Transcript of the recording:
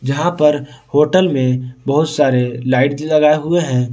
यहां पर होटल में बहुत सारे लाइट लगाए हुए हैं।